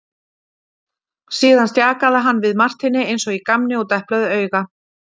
Síðan stjakaði hann við Marteini eins og í gamni og deplaði auga.